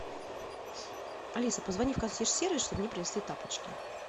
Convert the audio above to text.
алиса позвони в консьерж сервис чтобы мне принесли тапочки